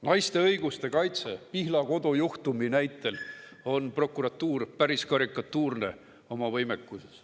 Naiste õiguste kaitse – Pihlakodu juhtumi näitel on prokuratuur päris karikatuurne oma võimekuses.